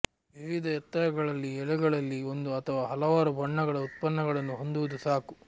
ವಿವಿಧ ಎತ್ತರಗಳಲ್ಲಿ ಎಳೆಗಳಲ್ಲಿ ಒಂದು ಅಥವಾ ಹಲವಾರು ಬಣ್ಣಗಳ ಉತ್ಪನ್ನಗಳನ್ನು ಹೊಂದುವುದು ಸಾಕು